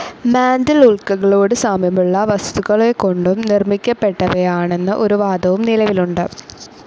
Mantle ഉല്ക്കകളോടു സാമ്യമുള്ള വസ്തുക്കളെക്കൊണ്ടു നിർമ്മിക്കപ്പെട്ടവയാണെന്ന ഒരു വാദവും നിലവിലുണ്ട്.